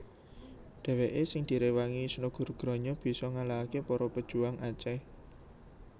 Dhèwèké sing diréwangi Snouck Hurgronje bisa ngalahaké para pejuang Aceh